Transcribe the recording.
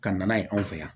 Ka na n'a ye anw fɛ yan